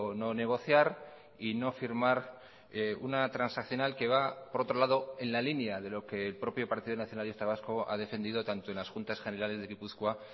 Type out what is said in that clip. no negociar y no firmar una transaccional que va por otro lado en la línea de lo que el propio partido nacionalista vasco ha defendido tanto en las juntas generales de gipuzkoa